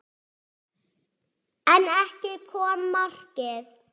En ekki kom markið.